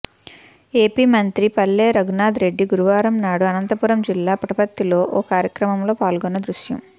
AP మంత్రి పల్లె రఘునాథ్ రెడ్డి గురువారం నాడు అనంతపురం జిల్లా పుట్టపర్తిలో ఓ కార్యక్రమంలో పాల్గొన్న దృశ్యం